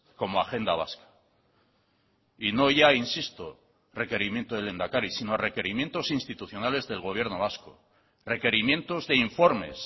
como agenda vasca y no ya insisto requerimiento del lehendakari sino requerimientos institucionales del gobierno vasco requerimientos de informes